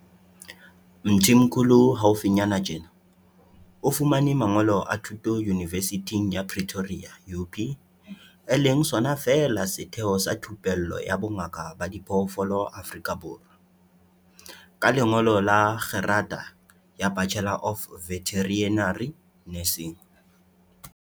Mthimkhulu haufinyana tjena, o fumane mangolo a thuto yunivesithing ya Pretoria UP, e leng sona feela setheo sa thupello ya bongaka ba diphoofolo Afrika Borwa, ka lengolo la kgerata ya Bachelor of Veterinary Nursing.